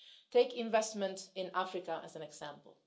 Take investment in Africa as an example.